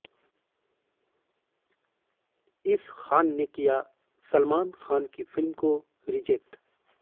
इस खान ने किया सलमान खान की फ़िल्म को रिजेक्ट